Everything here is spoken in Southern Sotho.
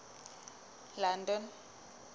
london